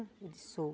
Ele disse, sou.